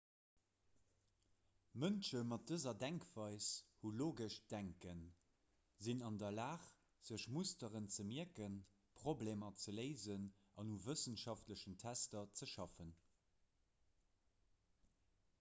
mënsche mat dëser denkweis hu logescht denken sinn an der lag sech musteren ze mierken problemer ze léisen an u wëssenschaftlechen tester ze schaffen